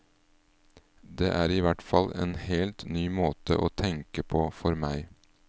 Det er ihvertfall en helt ny måte å tenke på for meg.